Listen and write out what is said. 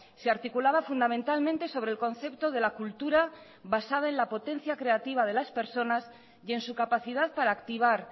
se articulaba fundamentalmente sobre el concepto de la cultura basada en al potencia creativa de las personas y en su capacidad para activar